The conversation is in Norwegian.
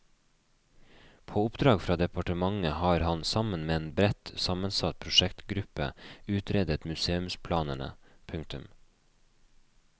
På oppdrag fra departementet har han sammen med en bredt sammensatt prosjektgruppe utredet museumsplanene. punktum